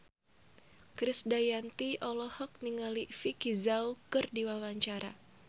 Krisdayanti olohok ningali Vicki Zao keur diwawancara